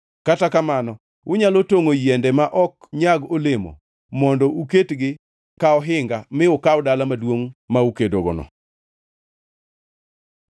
Kata kamano unyalo tongʼo yiende ma ok nyag olemo mondo uketgi ka ohinga mi ukaw dala maduongʼ ma ukedogono.